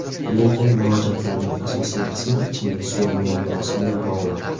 Lekin murojaatlarning asosiy qismi ichimlik suvi muammosi bilan bog‘liq.